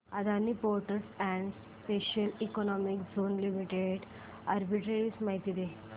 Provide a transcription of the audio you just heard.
Adani ports and special economic zone limited arbitrage माहिती दे